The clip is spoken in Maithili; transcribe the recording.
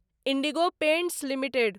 indigo Paints limited